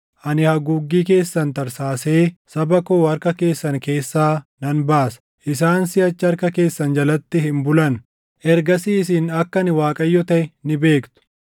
Ani haguuggii keessan tarsaasee saba koo harka keessan keessaa nan baasa; isaan siʼachi harka keessan jalatti hin bulan. Ergasii isin akka ani Waaqayyo taʼe ni beektu.